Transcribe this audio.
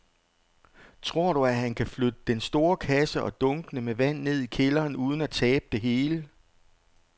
Tror du, at han kan flytte den store kasse og dunkene med vand ned i kælderen uden at tabe det hele?